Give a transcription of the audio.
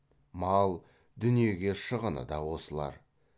мал дүниеге шығыны да осылар